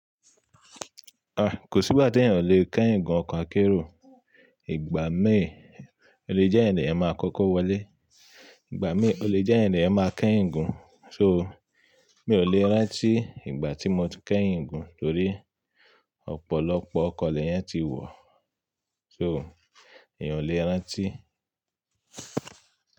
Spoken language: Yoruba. Ah! Kò sí ìgbà tí èèyàn ò le kẹ́ ìgún ọkọ̀ akérò. Ìgbà mií, ò le jẹ́ èèyàn lo máa kọ́kọ́ wọlé. Ìgbà mií, ò le jẹ́ èèyàn leyan máa kẹ́yin gún. So, mi ò le rántí ìgbà tí mo ti kẹ́yin gún torí ọ̀pọ̀lọpọ̀ ọkọ̀ léyan ti wọ̀. So, èèyàn ò le rántí.